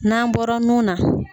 N'an bɔra nun na.